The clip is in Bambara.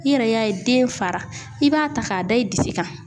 I yɛrɛ y'a ye den fara i b'a ta k'a da i disi kan.